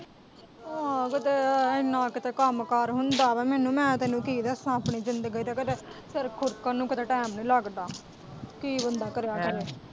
ਆਂ ਏ ਇੰਨਾ ਕਿਤੇ ਇੰਨ੍ਹਾਂ ਕਿਤੇ ਕੰਮਕਾਰ ਹੁੰਦਾ ਵਾਂ ਮੈਨੂੰ ਮੈਂ ਤੈਨੂੰ ਕੀ ਦੱਸਾ ਆਪਣੀ ਜ਼ਿੰਦਗੀ ਦੇ ਕਿਤੇ ਸਿਰ ਖੂਰਕਣ ਨੂੰ ਕਿਤੇ ਟੈਮ ਨੀ ਲੱਗਦਾ, ਕੀ ਬੰਦਾ ਕਰੇ ਆਖਰ।